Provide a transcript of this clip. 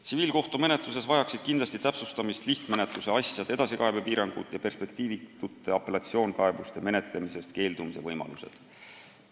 Tsiviilkohtumenetluses vajaksid kindlasti täpsustamist lihtmenetluse asjade edasikaebe piirangud ja perspektiivitute apellatsioonkaebuste menetlemisest keeldumise võimalused.